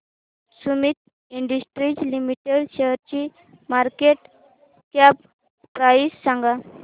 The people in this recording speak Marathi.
सुमीत इंडस्ट्रीज लिमिटेड शेअरची मार्केट कॅप प्राइस सांगा